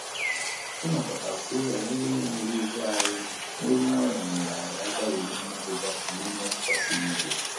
I nokota kwuo banyere ekweghị ekwe anyị na olu nwayọ nyere anyị aka iwu mmetụta iwu mmetụta sịrị ike